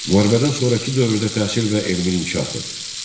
Müharibədən sonrakı dövrdə təhsil və elmin inkişafı.